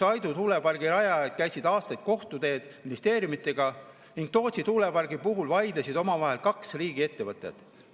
Aidu tuulepargi rajajad käisid aastaid kohtuteed ministeeriumidega ning Tootsi tuulepargi puhul vaidlesid omavahel kaks riigiettevõtet.